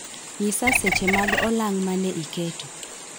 Ng'isa seche mag olang' mane iketo